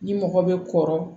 Ni mɔgɔ bɛ kɔrɔ